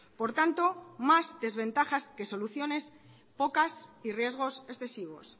por tanto más desventajas que soluciones pocas y riesgos excesivos